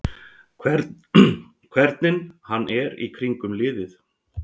Hvernig hann er í kringum liðið?